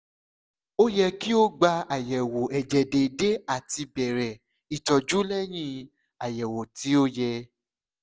o yẹ ki o gba ayẹwo ẹjẹ deede ati bẹrẹ itọju lẹhin ayẹwo ti o yẹ